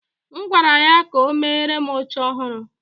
M gwara ya ka o meere m oche ọhụrụ